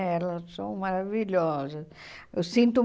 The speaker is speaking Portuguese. Elas são maravilhosas. Eu sinto